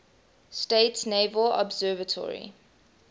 states naval observatory